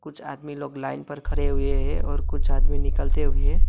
कुछ आदमी लोग लाइन पर खड़े हुए हैं और कुछ आदमी निकलते हुए--